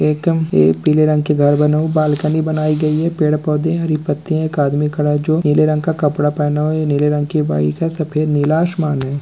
पे पीले रंग के घर बने उ बालकनी बनाई गई है| पेड़-पौधे हैं हरी पत्तियाँ है| एक आदमी खड़ा है जो नीले रंग के कपड़े पहना हुआ है नीले रंग की बाइक है सफेद-नीला आसमान है।